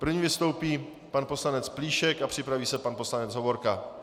První vystoupí pan poslanec Plíšek a připraví se pan poslanec Hovorka.